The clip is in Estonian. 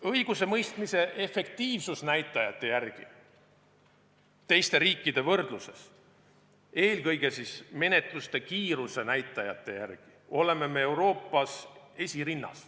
Õigusemõistmise efektiivsusnäitajate poolest teiste riikidega võrdluses, eelkõige menetluste kiiruse näitajate poolest oleme me Euroopas esirinnas.